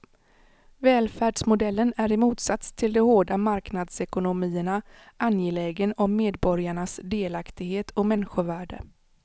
Välfärdsmodellen är i motsats till de hårda marknadsekonomierna angelägen om medborgarnas delaktighet och människovärde.